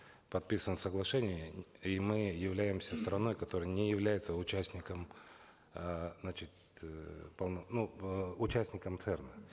подписываем соглашение и мы являемся страной которая не является участником э значит э ну участником церн а